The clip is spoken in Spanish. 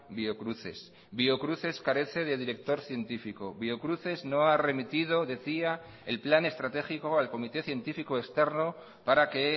biocruces biocruces carece de director científico biocruces no ha remitido decía el plan estratégico al comité científico externo para que